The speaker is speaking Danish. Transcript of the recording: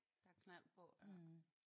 Der er knald på ja